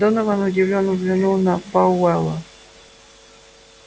донован удивлённо взглянул на пауэлла